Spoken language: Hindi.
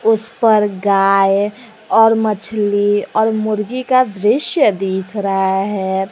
इस पर गाय और मछली और मुर्गी का दृश्य दिख रहा है।